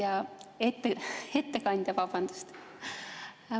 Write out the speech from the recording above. Austatud ettekandja!